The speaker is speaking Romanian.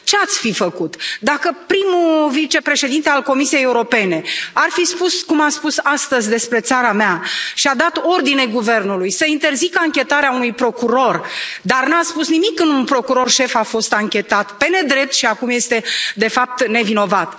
Ce ați fi făcut dacă prim vicepreședintele Comisiei Europene ar fi spus, cum a spus astăzi despre țara mea și a dat ordine Guvernului să interzică anchetarea unui procuror, dar nu a spus nimic când un procuror șef a fost anchetat pe nedrept și acum este, de fapt, nevinovat.